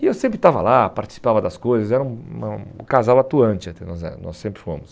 E eu sempre estava lá, participava das coisas, era um um o casal atuante até, nós éramos nós sempre fomos.